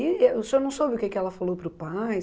E e o senhor não soube o que que ela falou para o pai?